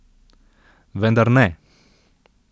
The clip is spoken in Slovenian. Vendar ne!